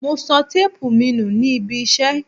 Mo sọ téépù mi nù nih ibiṣẹ́.